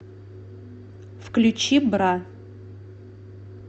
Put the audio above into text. включи бра